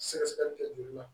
Sɛgɛsɛgɛli kɛ joli la